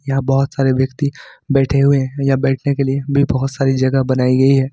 यहां बहोत सारे व्यक्ति बैठे हुए हैं बैठने के लिए भी बहोत सारी जगह बनाई गई है।